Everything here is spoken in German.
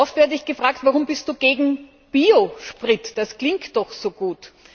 Oft werde ich gefragt Warum bist du gegen Biosprit, das klingt doch so gut?